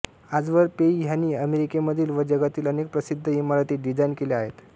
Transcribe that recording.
आजवर पेइ ह्यांनी अमेरिकेमधील व जगातील अनेक प्रसिद्ध इमारती डिझाईन केल्या आहेत